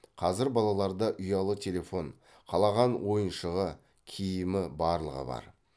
қазір балаларда ұялы телефон қалаған ойыншығы киімі барлығы бар